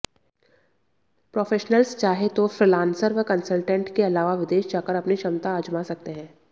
professionals चाहें तो freelancer व कंसल्टेंट के अलावा विदेश जाकर अपनी क्षमता आजमा सकते हैं